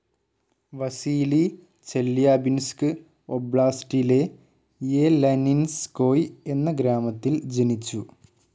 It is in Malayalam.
വസീലി ചെല്യാബിൻസ്ക് ഒബ്ലാസ്റ്റിലെ യെലനിൻസ്കോയ് എന്ന ഗ്രാമത്തിൽ ജനിച്ചു.